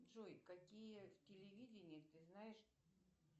джой какие телевидения ты знаешь